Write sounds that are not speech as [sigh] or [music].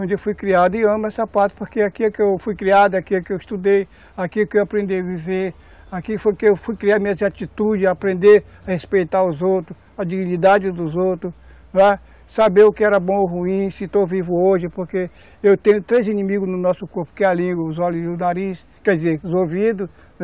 onde eu fui criado e amo essa, [unintelligible] porque aqui é que eu fui criado, aqui é que eu estudei, aqui é que eu aprendi a viver, aqui foi que eu fui criar minhas atitudes, aprender a respeitar os outros, a dignidade dos outros, não é? Saber o que era bom ou ruim, se estou vivo hoje, porque eu tenho três inimigos no nosso corpo, que é a língua, os olhos e o nariz, quer dizer, os ouvidos.